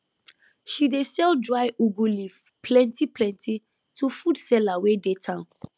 she dey sell dry [ugu] leaf plentyplenty to food seller wey dey town